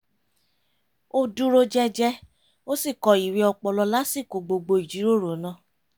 o dúró jẹ́jẹ́ ó sì kọ ìwé ọpọlọ lásìkò gbogbo ìjírórò náà